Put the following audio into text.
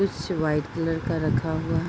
कुछ white colour का रखा हुआ --